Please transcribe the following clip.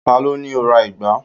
ta lo ni ki o ra ìgbá